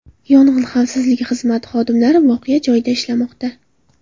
Yong‘in xavfsizligi xizmati xodimlari voqea joyida ishlamoqda.